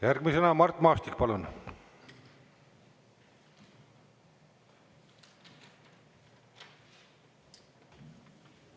Järgmisena Mart Maastik, palun!